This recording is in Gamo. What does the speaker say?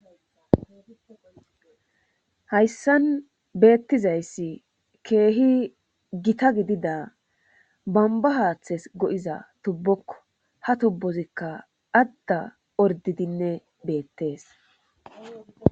hayssan beettizayssi keehi gita gidida bamba haaththes go7iza tubbokko ha tubbozikka adda ordidinne beettees